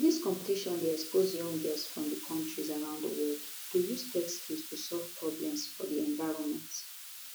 dis competition dey expose young girls from kontris around di world to use tech skills to solve problems for di environment